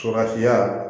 Surafiya